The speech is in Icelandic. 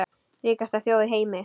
Ríkasta þjóð í heimi.